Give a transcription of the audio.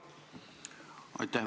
Aitäh!